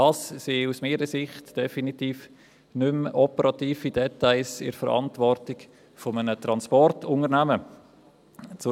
Aus meiner Sicht sind dies definitiv keine operativen Details mehr, die in der Verantwortung eines Transportunternehmens liegen.